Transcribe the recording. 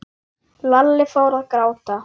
Lalli fór að gráta.